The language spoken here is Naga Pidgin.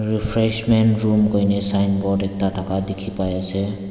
refreshments room koina sign board ekta thaka dikhi pai ase.